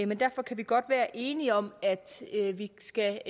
men derfor kan vi godt være enige om at vi skal